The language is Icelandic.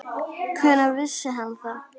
Hvenær vissi hann það?